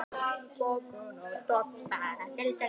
Ég geri mér ljóst að persónuleiki minn þolir ekki áfengi.